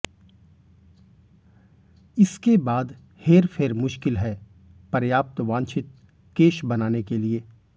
इसके बाद हेरफेर मुश्किल है पर्याप्त वांछित केश बनाने के लिए